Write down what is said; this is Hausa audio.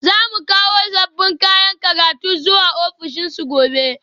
Za mu kawo sabbin kayan rubutu zuwa ofishinsu gobe